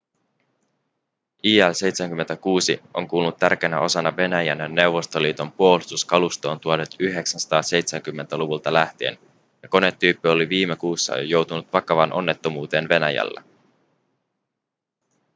il-76 on kuulunut tärkeänä osana venäjän ja neuvostoliiton puolustuskalustoon 1970-luvulta lähtien ja konetyyppi oli viime kuussa jo joutunut vakavaan onnettomuuteen venäjällä